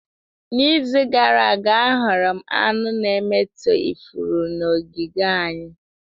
N'izu gara aga ahụrụ m aṅụ na-emetọ ifuru n'ogige anyị